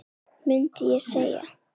mundi ég segja.